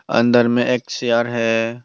अंदर में एक चेयर है।